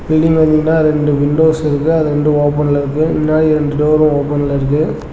Building பாத்திங்கன்னா ரெண்டு windows இருக்கு அது ரெண்டு ஓபன்ல இருக்கு முன்னாடி ரெண்டு டோர் ஓபன்ல இருக்கு.